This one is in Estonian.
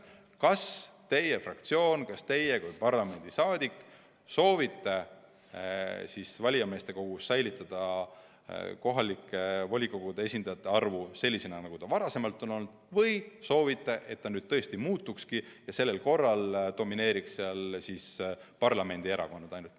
Kas teie fraktsioon või kas teie kui parlamendiliige soovite valijameeste kogus säilitada kohalike volikogude esindajate arvu sellisena, nagu ta varem on olnud, või soovite, et nende arv tõesti muutukski ja sel korral domineeriks seal parlamendierakonnad.